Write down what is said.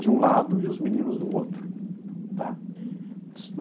de um lado e os meninos do outro, tá? Uhum.